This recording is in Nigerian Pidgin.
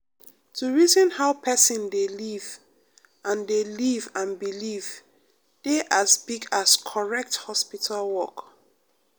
to reason how person dey live and dey live and believe dey as big as correct hospital work.